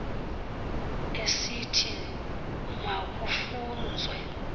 esithi ma kufunzwe